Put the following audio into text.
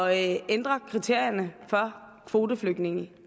at ændre kriterierne for kvoteflygtninge